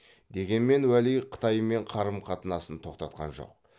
дегенмен уәли қытаймен қарым қатынасын тоқтатқан жоқ